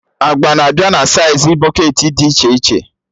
Agba na-abịa na saịz bọketị dị iche iche